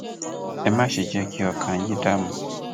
ẹ má ṣe jẹ kí ọkàn yín dààmú